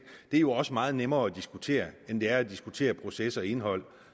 det er jo også meget nemmere at diskutere end det er at diskutere proces og indhold